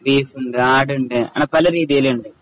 ബീഫുണ്ട്, ആടുണ്ട് അങ്ങനെ പല രീതിലുണ്ട്.